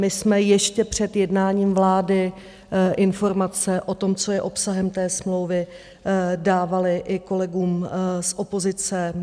My jsme ještě před jednáním vlády informace o tom, co je obsahem té smlouvy, dávali i kolegům z opozice.